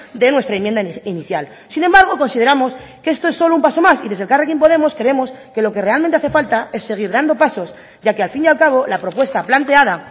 de nuestra enmienda inicial sin embargo consideramos que esto es solo un paso más y desde elkarrekin podemos creemos que lo que realmente hace falta es seguir dando pasos ya que al fin y al cabo la propuesta planteada